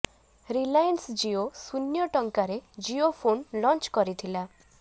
Reliance Jio ଶୂନ୍ୟ ଟଙ୍କାରେ Jio phone launch କରିଥିଲା